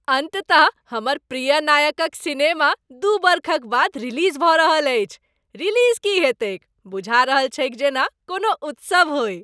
अंततः , हमर प्रिय नायकक सिनेमा दू बरखक बाद रिलीज भऽ रहल अछि, रिलीज की हेतैक, बुझा रहल छैक जेना कोनो उत्सव होई ।